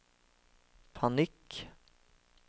panikk